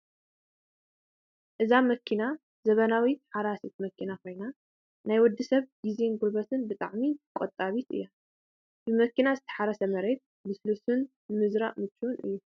እዛ መኪና ዘመናዊት ሓራሲት መኪና ኮይና ናይ ወዲ ሰብ ግዜን ጉልበትን ብጣዕሚ ቆጣቢት እያ። ብመኪና ዝተሓረሰ መሬት ልስሉስን ንምዝራእ ምችውን እዩ ።